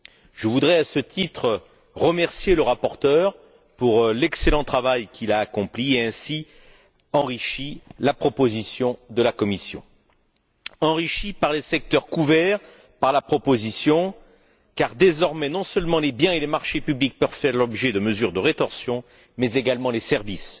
Je voudrais, à ce titre, remercier le rapporteur pour l'excellent travail qu'il a accompli et pour avoir ainsi enrichi la proposition de la Commission. Enrichi par les secteurs couverts par la proposition, car désormais, non seulement les biens et les marchés publics peuvent faire l'objet de mesures de rétorsion, mais également les services.